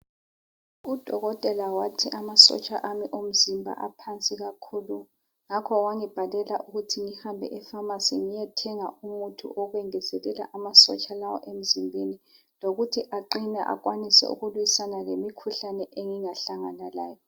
Udokotela wathi amasotsha ami omzimba aphansi kakhulu ngakho wangibhalela ukuthi ngihambe efamasi ngiyethenga umuthi wokwengezelela amasotsha ami emzimbeni lokuthi aqine akwanise ukuliswana lemikhihlane engingahlangana layo.